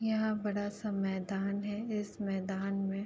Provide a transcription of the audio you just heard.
यहाँ बड़ा सा मैदान है। इस मैदान में --